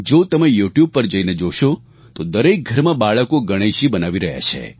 જો તમે યુટ્યુબ પર જઈને જોશો તો દરેક ઘરમાં બાળકો ગણેશજી બનાવી રહ્યા છે